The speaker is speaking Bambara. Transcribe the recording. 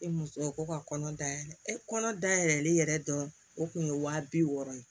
E muso ko ka kɔnɔ da yɛlɛ e kɔnɔ da yɛlɛlen yɛrɛ dɔrɔn o kun ye waa bi wɔɔrɔ ye